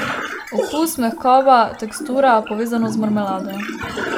Okus, mehkoba, tekstura, povezanost z marmelado.